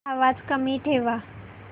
आवाज कमी ठेवा